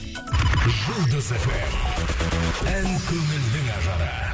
жұлдыз фм ән көңілдің ажары